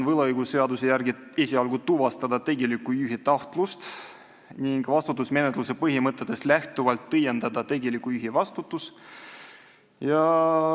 Võlaõigusseaduse järgi on ülesanne esialgu tuvastada tegeliku juhi tahtlust ning vastutusmenetluse põhimõtetest lähtuvalt õiendada tegeliku juhi vastutus.